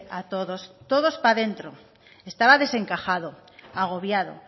a todos todos para dentro estaba desencajado agobiado